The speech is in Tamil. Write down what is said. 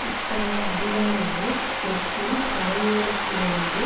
இத்தகைய அதிகாரங்கள் தெற்கில் கரையோரத்திலிருந்து